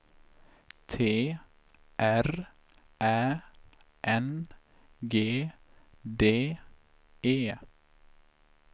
T R Ä N G D E